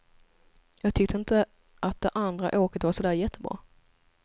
Jag tyckte inte att det andra åket var så där jättebra.